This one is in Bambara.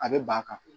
A bɛ ban ka